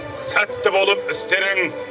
сәтті болып істерің